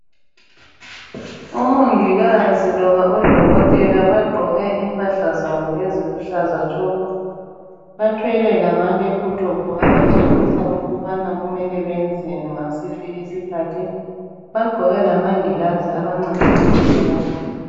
Omongikazi loba odokotela bagqoke impahla zabo eziluhlaza tshoko. Bathwele lama lephuthophu abatshengisa ukubana kumele benzeni ngasiphi isikhathi. Bagqoke lamangilazi abancedisa ukubona.